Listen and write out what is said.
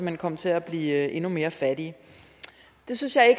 hen komme til at blive endnu mere fattige det synes jeg